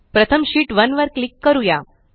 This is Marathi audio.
प्रथम शीट 1 वर क्लिक करूया